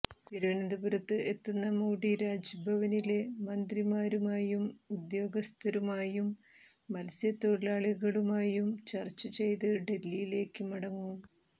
തിരുവനന്തപുരത്ത് എത്തുന്ന മോഡി രാജ്ഭവനില് മന്ത്രിമാരുമായും ഉദ്യോഗസ്ഥരുമായും മത്സ്യത്തൊഴിലാളികളുമായും ചര്ച്ച ചെയ്ത് ഡല്ഹിയ്ക്ക് മടങ്ങും